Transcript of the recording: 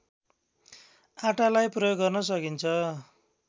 आटालाई प्रयोग गर्न सकिन्छ